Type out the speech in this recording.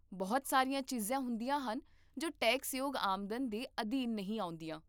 ਬਹੁਤ ਸਾਰੀਆਂ ਚੀਜ਼ਾਂ ਹੁੰਦੀਆਂ ਹਨ ਜੋ ਟੈਕਸਯੋਗ ਆਮਦਨ ਦੇ ਅਧੀਨ ਨਹੀਂ ਆਉਂਦੀਆਂ